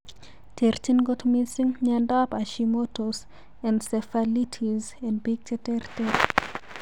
Terchin kot mising miondap Hashimoto's encephalitis en pik che ter ter.